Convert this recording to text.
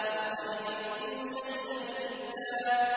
لَّقَدْ جِئْتُمْ شَيْئًا إِدًّا